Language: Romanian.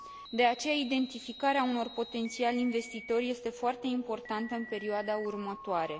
De aceea, identificarea unor potențiali investitori este foarte importantă în perioada următoare.